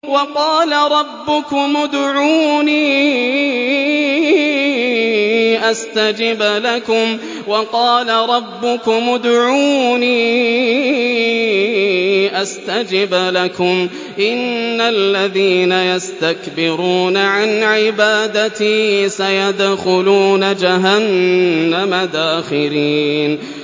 وَقَالَ رَبُّكُمُ ادْعُونِي أَسْتَجِبْ لَكُمْ ۚ إِنَّ الَّذِينَ يَسْتَكْبِرُونَ عَنْ عِبَادَتِي سَيَدْخُلُونَ جَهَنَّمَ دَاخِرِينَ